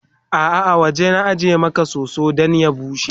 a'a a waje na ajiye Maka soso Dan ya bushe